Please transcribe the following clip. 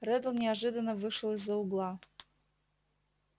реддл неожиданно вышел из-за угла